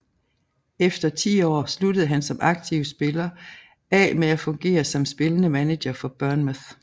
Efter ti år sluttede han som aktiv spiller af med at fungere som spillende manager for Bournemouth